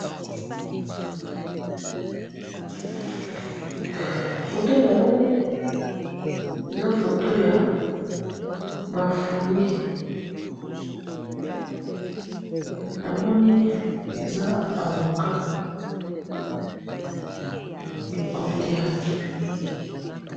Photo namoni eza photo ya ba fruits namoni eza avocats ya kolia